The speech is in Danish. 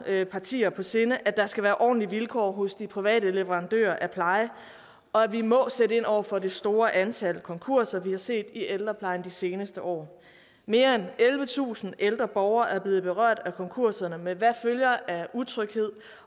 partier på sinde at der skal være ordentlige vilkår hos de private leverandører af pleje og at vi må sætte ind over for de store antal konkurser vi har set i ældreplejen de seneste år mere end ellevetusind ældre borgere er blevet berørt af konkurserne med hvad der deraf følger af utryghed